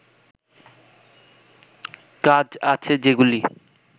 কাজ আছে যেগুলি